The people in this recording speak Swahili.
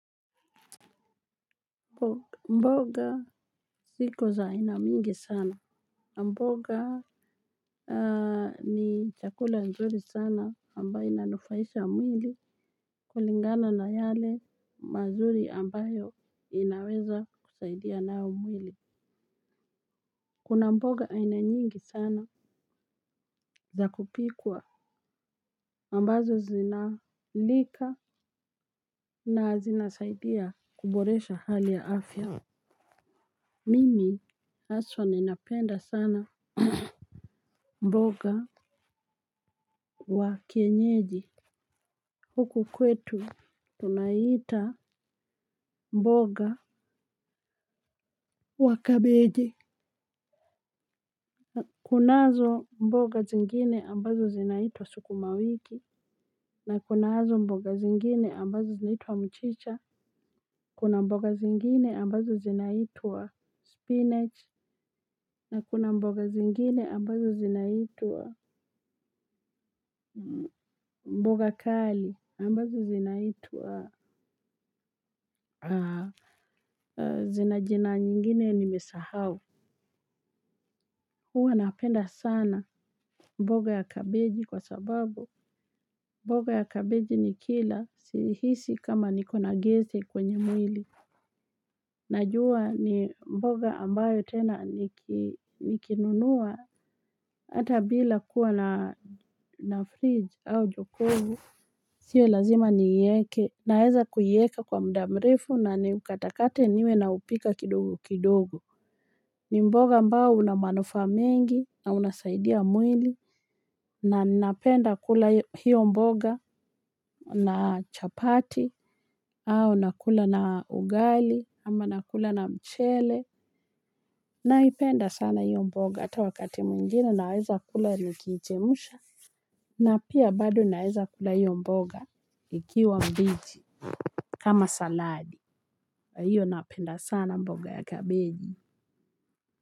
Mboga ziko za ina mingi sana. Mboga ni chakula nzuri sana ambayo inanufaisha mwili kulingana na yale mazuri ambayo inaweza kusaidia nayo mwili. Kuna mboga aina nyingi sana za kupikwa ambazo zinalika na zinasaidia kuboresha hali ya afya. Mimi haswa ninapenda sana mboga. Wa kienyeji huku kwetu tunaita mboga wa kabeji. Kunazo mboga zingine ambazo zinaitwa sukuma wiki. Na kunazo mboga zingine ambazo zinaitwa mchicha. Kuna mboga zingine ambazo zinaitwa spinach. Na kuna mboga zingine ambazo zinaitu wa mboga kali ambazo zinaitwa zina jina nyingine niimesahau huwa napenda sana mboga ya kabeji kwa sababu mboga ya kabeji nikila uhuhisi kama niko na gesi kwenye mwili. Najua ni mboga ambayo tena nikinunua hata bila kuwa na fridge au jokovu. Sio lazima ni ieke naeza kuieka kwa muda mrefu na ni ukatakate niwe na upika kidogo kidogo. Ni mboga ambao unamanufa mingi na unasaidia mwili na napenda kula hiyo mboga na chapati au nakula na ugali ama nakula na mchele naipenda sana hiyo mboga ata wakati mwingine naweza kula niki ichemusha. Na pia bado naweza kula hiyo mboga ikiwa mbichi kama saladi na hiyo napenda sana mboga ya kabeji. Kwa hivyo.